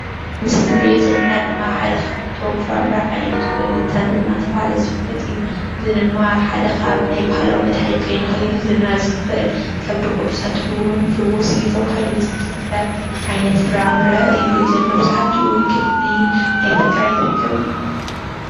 እዚ እንሪኦ ዘለና ድማ ሓደ ካብቶም ፍራምረ ዓይነት ኮይኑ ተምሪ እንዳተባሃለ ዝፍለጥ እዩ፡፡ እዚ ድማ ሓደ ካብ ናይ ባህላዊ መድናሺት ኮይኑ ከም ብጉር ይፍውስ እዩ ተባሂሉ ዝሕሰብ ዓይነት ፍራምረ እዩ፡፡ እዚ መብዛሕትኡ ክፍሊ ኣብ ከተማ ይርከብ እዩ፡፡